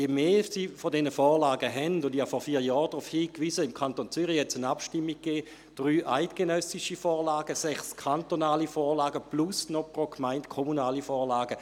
Ich wies vor vier Jahren darauf hin, dass es im Kanton Zürich pro Abstimmung über drei eidgenössische und sechs kantonale Vorlagen gab sowie zusätzlich pro Gemeinde kommunale Vorlagen.